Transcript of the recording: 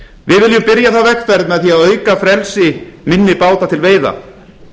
við viljum byrja þá vegferð með því að auka frelsi minni báta til veiða